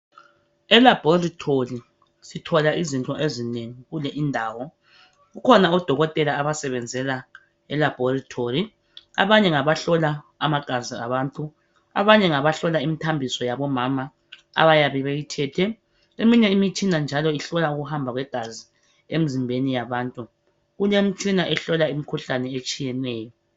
Elabhorithori sithola izinto ezinengi kule indawo. Kukhona odokotela abasebenzela elabhorithori. Abanye ngaba hlola igazi labantu, abanye ngabahlola imithambiso yabomama abayabe beyithethe. Eminye imitshina njalo ihlola ukuhamba kwegazi emzimbeni yabantu. Kulemitshina ehlola imikhuhlane etshiyeneyo.